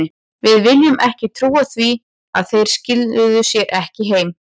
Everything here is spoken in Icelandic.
Við vildum ekki trúa því að þeir skiluðu sér ekki heim.